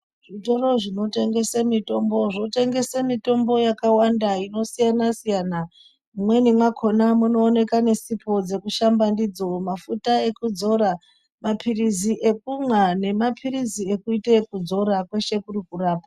Zvitoro zvinotengese mutombo zvotengese mutombo yakawanda inosiyana siyana imweni mwakhona munooeka nesipo dzekushamba ndidzo mafuta udzora papirizi ekumwa nemapirizi ekuite ekudzora kweshe kuri kurapa.